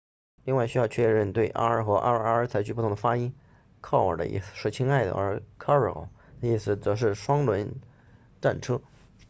另外需要确保对 r 和 rr 采取不同的发音 caro 的意思是亲爱的而 carro 的意思则是双轮战车